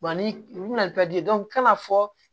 ni u bina kan ka fɔ